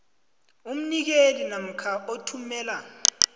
umnikeli namkha othumela